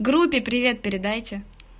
группе привет передайте